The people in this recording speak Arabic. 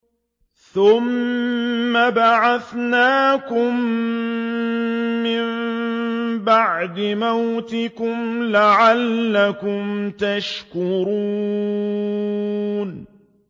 ثُمَّ بَعَثْنَاكُم مِّن بَعْدِ مَوْتِكُمْ لَعَلَّكُمْ تَشْكُرُونَ